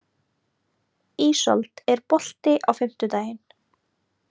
Ísold, er bolti á fimmtudaginn?